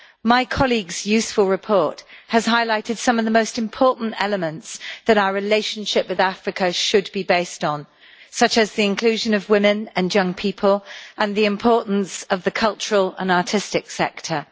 My colleague's useful report has highlighted some of the most important elements that our relationship with Africa should be based on, such as the inclusion of women and young people and the importance of the cultural and artistic sector.